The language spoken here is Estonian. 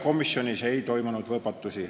Komisjonis ei toimunud võpatusi.